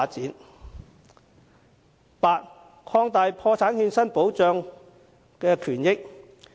第八，擴大破產欠薪保障權益。